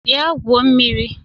Bịa gwuo mmiri!